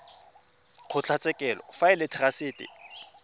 kgotlatshekelo fa e le therasete